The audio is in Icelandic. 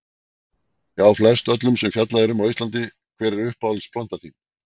Já flest öllum sem fjallað er um á íslandi Hver er uppáhalds platan þín?